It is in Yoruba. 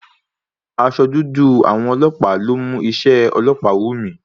Aṣọ dúdú àwọn ọlọ́pàá ló mú iṣé ọlọ́pàá wù mí.